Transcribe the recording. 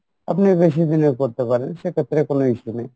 আপনি বেশি দিনের করতে পারেন সেক্ষেত্রে কোনো issue নেই